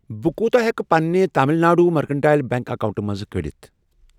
بہٕ کوٗتاہ ہٮ۪کہٕ پنِنہِ تامِل ناڈ مٔرکنٹایِل بیٚنٛک اکاونٹہٕ منٛز کٔڑِتھ؟